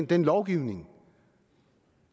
den lovgivning